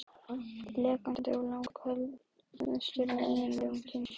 Lekandi er langalgengastur af eiginlegum kynsjúkdómum.